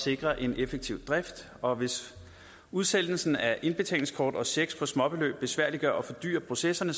sikre en effektiv drift og hvis udsendelsen af indbetalingskort og checks på småbeløb besværliggør og fordyrer processerne